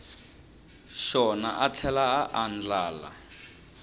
xona a tlhela a andlala